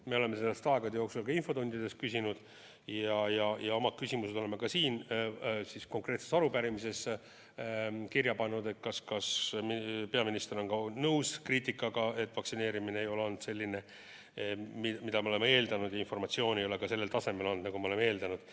Me oleme sellest aegade jooksul ka infotundides küsinud ja oma küsimused oleme ka siin konkreetses arupärimises kirja pannud, et kas peaminister on nõus kriitikaga, et vaktsineerimine ei ole olnud selline, nagu me oleme eeldanud, ja informatsioon ei ole sellel tasemel, nagu me oleme eeldanud.